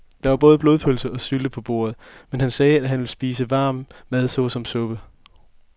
Der var både blodpølse og sylte på bordet, men han sagde, at han bare ville spise varm mad såsom suppe.